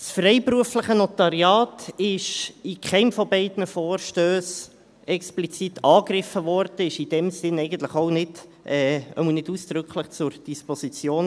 Das freiberufliche Notariat wurde in keinem der beiden Vorstösse explizit angegriffen und stand in diesem Sinne auch nicht – zumindest nicht ausdrücklich – zur Disposition.